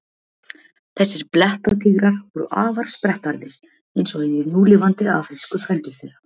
Þessir blettatígrar voru afar sprettharðir, eins og hinir núlifandi afrísku frændur þeirra.